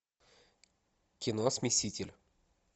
кино смеситель